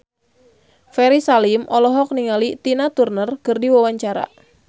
Ferry Salim olohok ningali Tina Turner keur diwawancara